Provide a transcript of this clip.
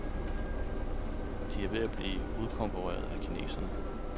De er ved at blive udkonkurreret af kinesere.